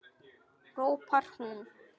hrópar hún.